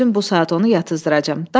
Mən özüm bu saat onu yatızdıracam.